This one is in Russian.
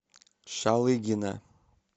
шалыгина